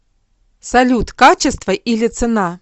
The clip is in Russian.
салют качество или цена